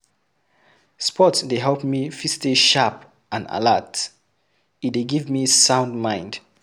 Sport dey help me fit stay sharp and alert, e dey give me sound mind